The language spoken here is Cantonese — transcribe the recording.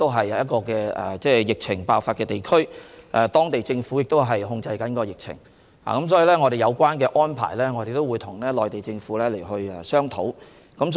此外，湖北屬疫情爆發的地區，當地政府正在控制疫情，所以我們會就有關安排與內地政府商討。